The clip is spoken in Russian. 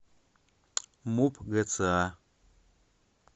муп гца